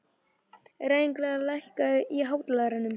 Rebekka, lækkaðu í hátalaranum.